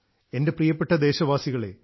എൻറെ പ്രിയപ്പെട്ട ദേശവാസികളേ